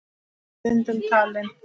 Hann er stundum talinn